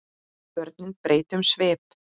Börnin breyta um svip.